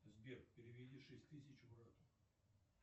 сбер переведи шесть тысяч брату